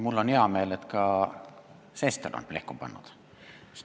Mul on hea meel, et ka Sester on siit plehku pannud.